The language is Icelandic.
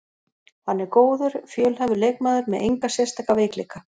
Hann er góður, fjölhæfur leikmaður með enga sérstaka veikleika.